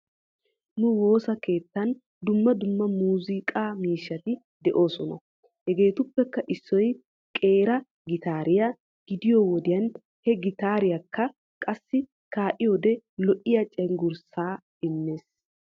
Nu woosa keettan dumma dumma muuziiqqa miishati de'oosona. Hegeetuppekka issoy qeera gitaariyaa gidiyoo wodiyan he gitaareekka qassi kaa'iyoode lo''iyaa cenggurssa immees.